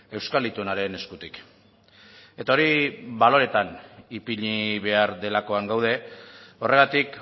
euskal itunaren eskutik eta hori baloretan ipini behar delakoan gaude horregatik